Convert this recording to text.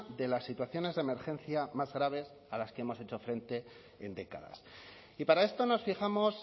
de las situaciones de emergencia más graves a las que hemos hecho frente en décadas y para esto nos fijamos